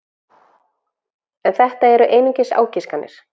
En þetta eru einungis ágiskanir.